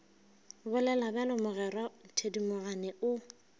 bolela bjalo mogwera thedimogane o